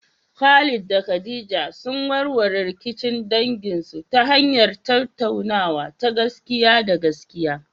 Khalid da Khadija sun warware rikicin danginsu ta hanyar tattaunawa ta gaskiya da gaskiya.